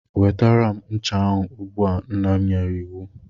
Nwetara m ncha ahụ ugbu a! Nna m nyere iwu.